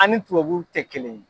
An ni tubabuw tɛ kelen ye.